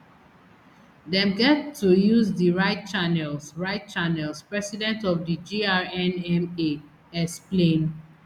dem get to use di right channels right channels president of di grnma explain